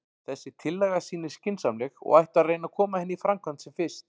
Þessi tillaga sýnist skynsamleg, og ætti að reyna að koma henni í framkvæmd sem fyrst.